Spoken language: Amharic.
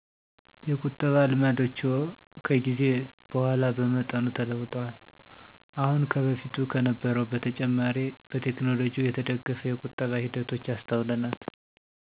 የቁጠባ ልማዶችዎ ከጊዜ በኋላ በመጠኑ ተለውጠዋል። አሁን ከበፊቱ ከነበረዉ በተጨማሬ በቴከኖሎጅው የተደገፈ የቁጠባ ሂደቶች አሰተውለናል።